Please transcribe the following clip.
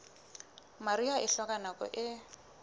mariha e hloka nako e